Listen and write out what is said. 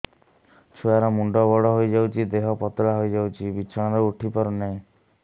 ଛୁଆ ର ମୁଣ୍ଡ ବଡ ହୋଇଯାଉଛି ଦେହ ପତଳା ହୋଇଯାଉଛି ବିଛଣାରୁ ଉଠି ପାରୁନାହିଁ